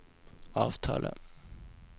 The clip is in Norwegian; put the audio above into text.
avtale